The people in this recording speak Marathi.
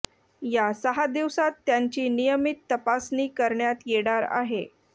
या सहा दिवसांत त्यांची नियमित तपासणी करण्यात येणार आहे